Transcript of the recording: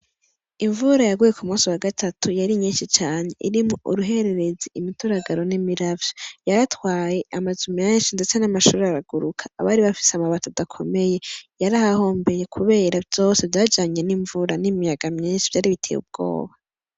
Imvura yaguye ku musi wa gatatu yari nyinshi cane irimwo uruhuherezi imituragaro n'imiravyo, yaratwaye amazu menshi ndetse n'amashure araguruka abari bafise amabati adakomeye yarahahombeye kubera vyose vyajanye n'ivura n'imiyaga myinshi vyari biteye ubwoba.